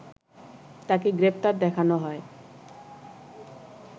তাকে গ্রেপ্তার দেখানো হয়